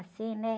Assim, né?